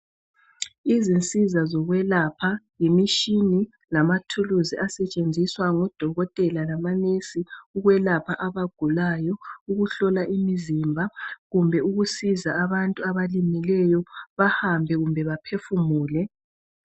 Izinsiza zokwelapha, yimishini, lamathuluzi asetshenziswa ngodokotela lamanesi ukwelapha abagulayo, ukuhlola imizimba, kumbe ukusiza abantu abalimeleyo, bahambe kumbe baphefumule.